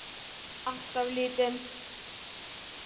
Alltof lítinn.